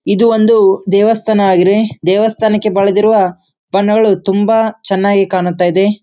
ಇದು ಒಂದು ದೇವಸ್ಥಾನ ಆಗಿದೆ ದೇವಸ್ಥಾನಕ್ಕೆ ಬಲದಿರುವ ಬಣ್ಣಗಳು ತುಂಬಾ ಚೆನ್ನಾಗಿ ಕಾಣುತ್ತೈದೆ.